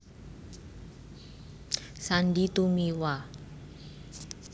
Sandy Tumiwa